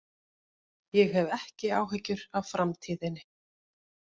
Ég hef ekki áhyggjur af framtíðinni.